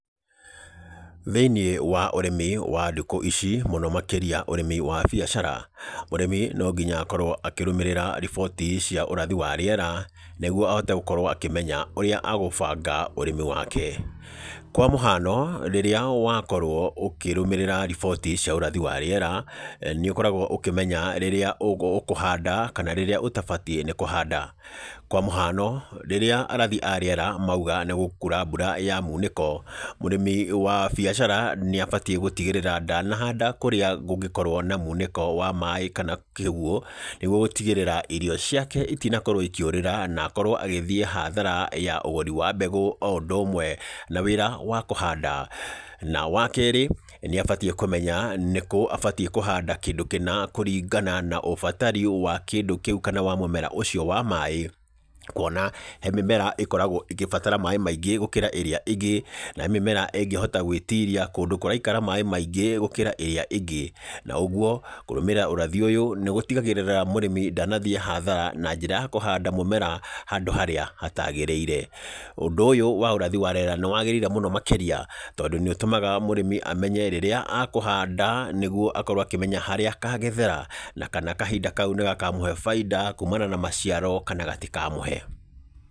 Thĩiniĩ wa ũrĩmi wa ndukũ ici, mũno makĩria ũrĩmi wa biacara. Mũrĩmi no nginya akorwo akĩrũmĩrĩra riboti cia ũrathi wa rĩera, nĩguo ahote gũkorwo akĩmenya ũrĩa agũbanga ũrĩmi wake. Kwa mũhano, rĩrĩa wakorwo ũkĩrũmĩrĩra riboti cia ũrathi wa rĩera, nĩ ũkoragwo ũkĩmenya rĩrĩa ũkũhanda, kana rĩrĩa ũtabatiĩ nĩ kũhanda. Kwa mũhano, rĩrĩa arathi a rĩera mauga nĩ gũkuura mbura ya mũnĩko, mũrĩmi wa biacara nĩ abatiĩ gũtigĩrĩra ndanahanda kũrĩa kũngĩkorwo na mũnĩko wa maĩ kana kĩguũ, nĩguo gũtigĩrĩra irio ciake itinakorwo ikĩũrĩra na akorwo agĩthiĩ hathara ya ũgũri wa mbegũ o ũndũ ũmwe na wĩra wa kũhanda. Na wa keerĩ, nĩ abatiĩ nĩ kũmenya nĩkũ abatiĩ nĩ kũhanda kĩndũ kĩna kũringana na ũbatari wa kĩndũ kĩu kana mũmera ũcio wa maĩ, kuona he mĩmera ĩkoragwo ĩgĩbatara maĩ maingĩ gũkĩra ĩrĩa ĩngĩ, na he mĩmera ĩngĩhota gwĩtiria kũndũ kũraikara maĩ maingĩ gũkĩra ĩrĩa ĩngĩ. Na ũguo, kũrũmĩrĩra ũrathi ũyũ, nĩ gũtigagĩrĩra mũrĩmi ndanathiĩ hathara na njĩra ya kũhanda mũmera handũ harĩa hatagĩrĩire. Ũndũ ũyũ wa ũrathi wa rĩera nĩ wagĩrĩire mũno makĩria, tondũ nĩ ũtũmaga mũrĩmi amenye rĩrĩa akũhanda nĩguo akorwo akĩmenya harĩ akagethere, na kana kahinda kau nĩ gakamũhe baida kumana na maciaro kana gatikamũhe.